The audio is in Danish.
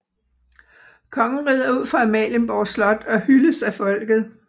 Kongen rider ud fra Amalienborg Slot og hyldes af folket